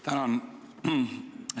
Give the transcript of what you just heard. Tänan!